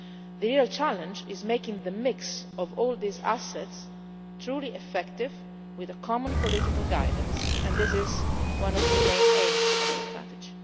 The real challenge is making the mix of all these assets truly effective with common political guidance, and this is one of the main aims of the strategy.